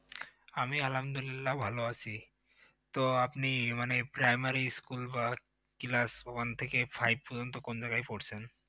আমি আলহামদুলিল্লাহ ভাল আছি, তো আপনি মানে primary school বা class one থেকে five পর্যন্ত কোন জায়গায় পড়ছেন?